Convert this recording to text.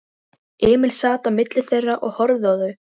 Emil sat á milli þeirra og horfði á þau.